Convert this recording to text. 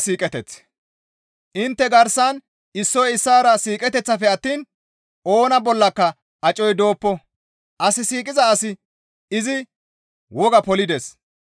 Intte garsan issoy issaara siiqeteththafe attiin oona bollaka acoy dooppo; as siiqiza asi izi wogaa polides.